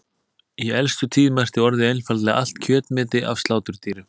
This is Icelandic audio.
Í elstu tíð merkti orðið einfaldlega allt kjötmeti af sláturdýrum.